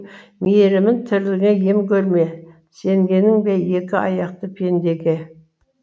мейірімін тірлігіңе ем көрме сенгенің бе екі аяқты пендеге